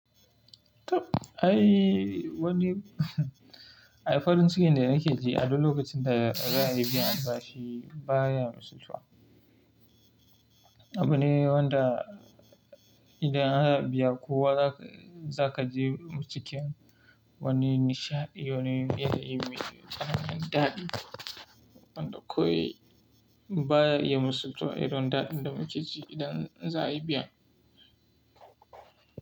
Toh ai wani, ai farin cikin da nake ji a duk lokacin da za'a yi biyan bashe baya misaltuwa. Abu ne wanda idan ana biya kowa za ka je cikin wani nishaɗi, wani biyayyi mai tunanin daɗi. Wanda kawai baya yi misaltuwa idan da, inda muke ji idan za a yi biya.